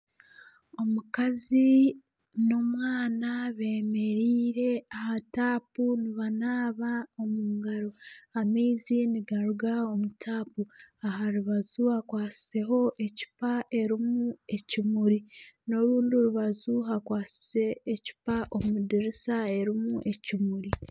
Omukazi na omwana bemereire aha taapu nibanaba omu ngaro , amaizi nigaruga omu taapu aha rubaju hakwatsizeho ecupa erimu ekimuri na orundi rubaju hakwatsize ecupa omu dirisa erimu ekimuri.